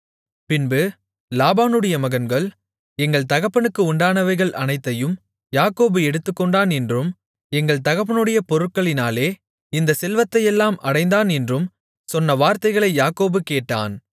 பின்பு லாபானுடைய மகன்கள் எங்கள் தகப்பனுக்கு உண்டானவைகள் அனைத்தையும் யாக்கோபு எடுத்துக்கொண்டான் என்றும் எங்கள் தகப்பனுடைய பொருட்களினாலே இந்த செல்வத்தையெல்லாம் அடைந்தான் என்றும் சொன்ன வார்த்தைகளை யாக்கோபு கேட்டான்